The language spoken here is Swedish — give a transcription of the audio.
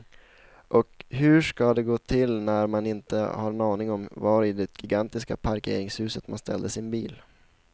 Och hur ska det gå till när man inte har en aning om var i det gigantiska parkeringshuset man ställde sin bil.